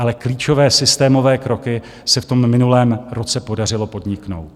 Ale klíčové systémové kroky se v tom minulém roce podařilo podniknout.